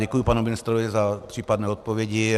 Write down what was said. Děkuji panu ministrovi za případné odpovědi.